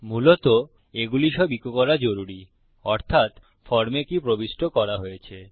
মূলত এগুলি সব ইকো করা জরুরি অর্থাত ফর্মে কি প্রবিষ্ট করা হয়েছে